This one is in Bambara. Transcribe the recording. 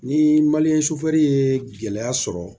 Ni ye gɛlɛya sɔrɔ